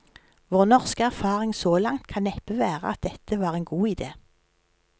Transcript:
Vår norske erfaring så langt kan neppe være at dette var en god idé.